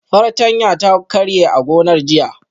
Fartanya ta karye a gonar jiya